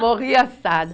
Morria assada.